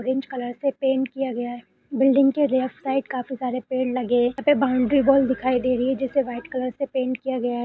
Orange colour से paint किया गया है बिल्डिंग के लेफ्ट साइड काफी सारे पेड़ लगे हैं यहाँ पर बाउंड्री वॉल दिखाई दे रही है जिसे व्हाइट कलर से पेंट किया गया है।